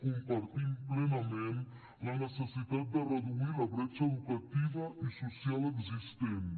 compartim plenament la necessitat de reduir la bretxa educativa i social existents